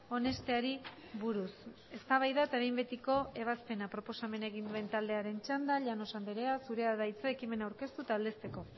onesteari buruz eztabaida eta behin betiko ebazpena proposamena egin duen taldearen txanda llanos andrea zurea da hitza ekimena aurkeztu eta aldezteko